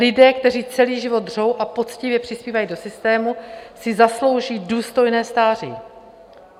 Lidé, kteří celý život dřou a poctivě přispívají do systému, si zaslouží důstojné stáří.